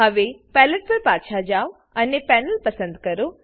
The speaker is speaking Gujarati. હવે પેલેટ પર પાછા જાવ અને પેનલ પસંદ કરો